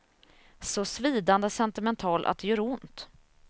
Så svidande sentimental att det gör ont.